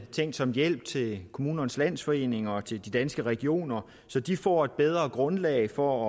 tænkt som en hjælp til kommunernes landsforening og danske regioner så de får et bedre grundlag for